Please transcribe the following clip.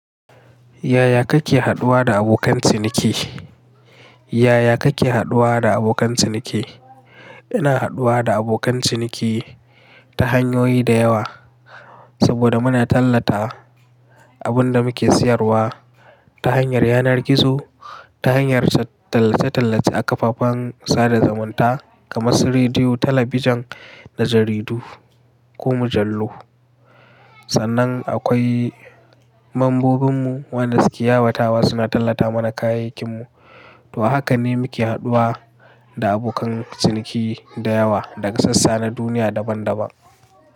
Yaya kake haɗuwa da abokan ciniki? Yaya kake haɗuwa da abokan ciniki? Ina haɗuwa da abokan ciniki ta hanyoyi da yawa saboda muna tallata abin da muke siyarwa ta hanyar yanar gizo, ta hanyar tallace-tallace a kafafen sada zumunta kamar su rediyo, talabijin da jaridu ko mujallu. Sannan akwai membobinmu waɗanda suke yawatawa suna tallata mana kayayyakinmu. To haka ne muke haɗuwa da abokan ciniki da yawa daga sassa na duniya daban-daban.